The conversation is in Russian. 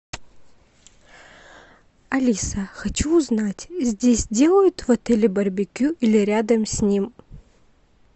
алиса хочу узнать здесь делают в отеле барбекю или рядом с ним